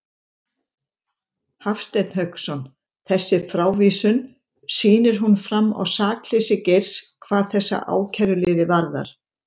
Hafstein Hauksson: Þessi frávísun, sýnir hún fram á sakleysi Geirs hvað þessa ákæruliði varðar?